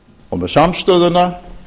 og með samstöðuna